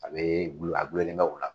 A bɛ gulon a gulonlen bɛ o la